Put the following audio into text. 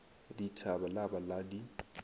dithaba la ba la di